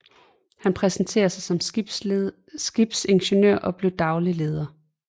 Han præsenterede sig som skibsingeniør og blev daglig leder